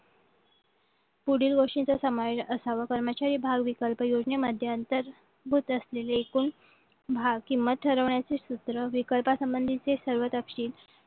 पुढील वर्षीय समावेश असावं कर्मचारी भाव विकल्प योजनेमध्ये अंतर्भूत असलेली एकूण भाव किंमत ठरवण्याची सूत्र विक्रेता संबंधीचे सर्व तपशील